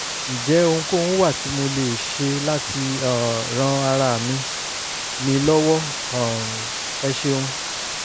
ǹjẹ́ ohunkóhun wà tí mo lè ṣe láti um ran ara mi mi lọ́wọ́? um ẹ ṣeun